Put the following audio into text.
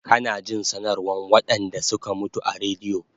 Kana jin sanarwan waɗanɗa suka mutu a radio